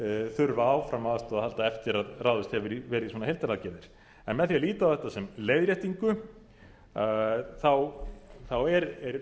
þurfa áfram á aðstoð að halda eftir að ráðist hefur verið í svona heildaraðgerðir en með því að líta á þetta sem leiðréttingu þá er